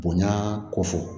Bonya ko fɔ